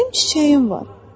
Mənim çiçəyim var.